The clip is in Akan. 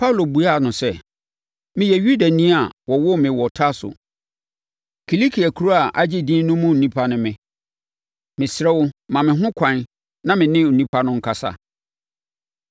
Paulo buaa no sɛ, “Meyɛ Yudani a wɔwoo me wɔ Tarso; Kilikia kuro a agye din no mu onipa ne me. Mesrɛ wo, ma me ho ɛkwan na me ne nnipa no nkasa.”